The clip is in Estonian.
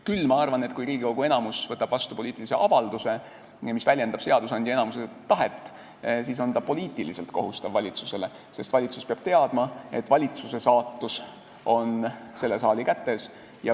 Küll ma arvan, et kui Riigikogu enamus võtab vastu poliitilise avalduse, mis väljendab seadusandja enamuse tahet, siis on see valitsusele poliitiliselt kohustav, sest valitsus peab teadma, et valitsuse saatus on selle saali kätes.